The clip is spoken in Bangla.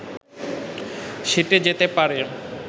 সেঁটে যেতে পারে